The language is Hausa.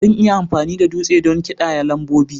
Zan iya amfani da dutse don ƙidaya lambobi